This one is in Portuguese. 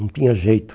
Não tinha jeito.